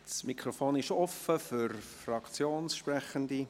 Das Mikrofon ist offen für Fraktionssprechende.